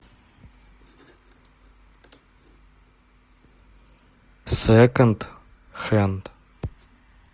секонд хенд